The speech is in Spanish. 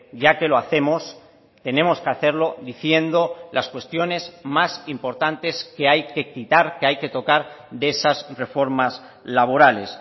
ya que lo hacemos tenemos que hacerlo diciendo las cuestiones más importantes que hay que quitar que hay que tocar de esas reformas laborales